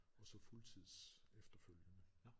Og så fuldtids efterfølgende